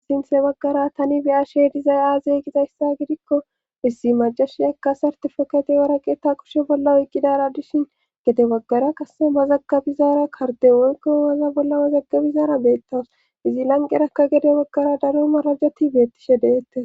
Sinthe baggara tani beya she dizay aazey gizayssa gidikko issi majashi akka sartefokate waraqeeta kushe bolla oyqqidara dishin gete baggara kasse ma zaggabizaara karte wonkeowaza bolla mazaggabizaara beettawus izi lanqerakka gede baggara daro marajeti beettishe deette.